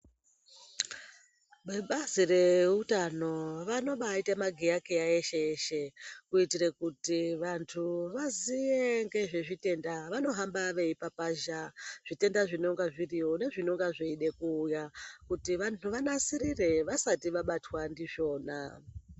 Vebazi reutano vanombaita magiya-kiya eshe-eshe, kuitire kuti vantu vaziye ngezvezvitenda vanohamba veifakazha zvitenda zvinonga zviriyo nezvinonga zveide kuuya, kuti vanasirire vasati vabatwa ndizvona.